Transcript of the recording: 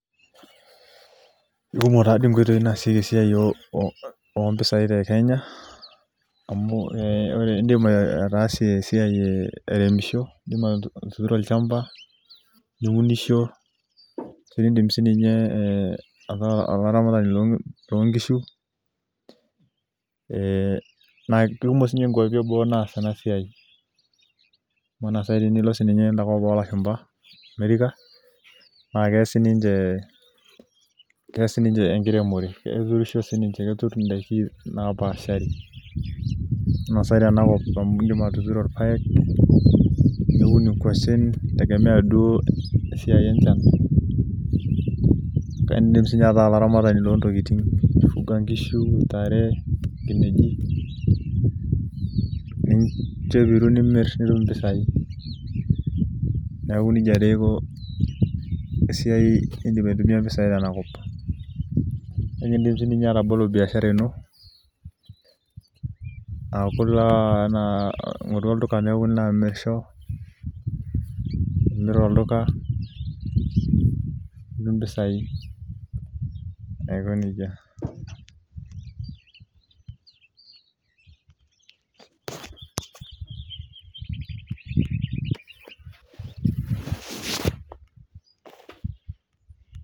Ikumok tadii inkoitoi naasieki isiaritin oompisai te Kenya amu ore idim ataasie esiai airemisho indim atuturo olchamba niunisho nii'dim siiniye ataa olaramatani loongishu eeh naa ikumok ingwapi eboo naas ena siai Ama naa saai tenilo siiniye en'da kop oolashumba America naa keas sininche keas siiniche enkiremore Keturisho siininche ketur in'daiki naapashari ena sai tenkop amu indim atituro ilpaek niun ingwashen itegemea mee duo esiai enchan kake indim siiniye ataa olaramatani loontokiting aifuga ngishu, ntare, nkineji ninjo epiru nimir nitum impisai niaku nija taa iko esiai nii'dim aitumia impisai tenakop Indim siiniye atabolo biashara ino aaku taa ilo olduka amirisho nimir olduka nitum impisai aiko neija